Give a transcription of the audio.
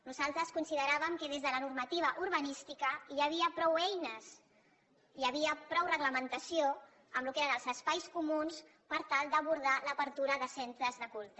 nosaltres consideràvem que des de la normativa urbanística hi havia prou eines hi havia prou reglamentació en el que eren els espais comuns per tal d’abordar l’obertura de centres de culte